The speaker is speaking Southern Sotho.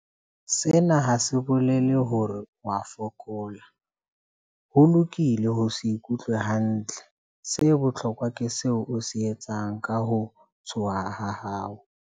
Sena ha se bolele hore o a fokola. Ho lokile ho se ikutlwe hantle. Se bohlokwa ke seo o se etsang ka ho tshoha ha hao.